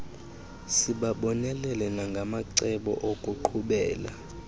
sibabonelele nangamacebo okuqhubela